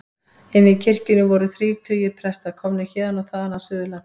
Inni í kirkjunni voru þrír tugir presta, komnir héðan og þaðan af Suðurlandi.